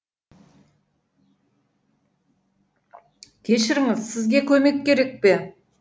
кешіріңіз сізге көмек керек пе